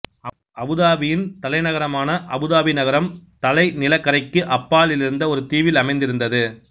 அபுதாபியின் தலை நகரமான அபுதாபி நகரம் தலைநிலக் கரைக்கு அப்பாலிருந்த ஒரு தீவில் அமைந்திருந்தது